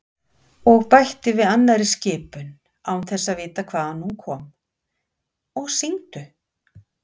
Og bætti við annarri skipun, án þess að vita hvaðan hún kom: Og syngdu